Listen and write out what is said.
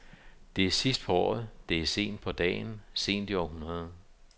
Det er sidst på året, det er sent på dagen, sent i århundredet.